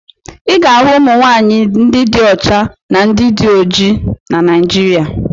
Ị ga-ahụ ụmụ nwaanyị ndị dị ọcha na ndị dị oji na Naịjịrịa.